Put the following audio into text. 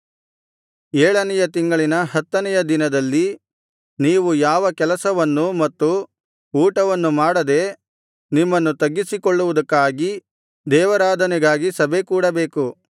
ಏಳನೆಯ ತಿಂಗಳಿನ ಹತ್ತನೆಯ ದಿನದಲ್ಲಿ ನೀವು ಯಾವ ಕೆಲಸವನ್ನೂ ಮತ್ತು ಊಟವನ್ನು ಮಾಡದೆ ನಿಮ್ಮನ್ನು ತಗ್ಗಿಸಿಕೊಳ್ಳುವುದಕ್ಕಾಗಿ ದೇವಾರಾಧನೆ ಸಭೆಕೂಡಬೇಕು